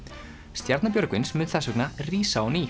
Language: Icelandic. stjarna Björgvins mun þess vegna rísa á ný